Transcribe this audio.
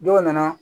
Dɔw nana